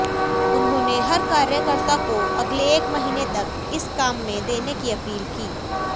उन्होंने हर कार्यकर्ता को अगले एक महीने तक इस काम में देने की अपील की